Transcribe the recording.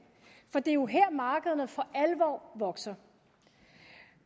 for det er jo her markederne for alvor vokser